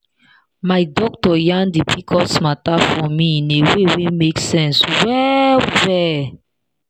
my doctor yan the pcos matter for me in a way wey make sense well well.